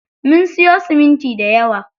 Mun siyo siminti dayawa.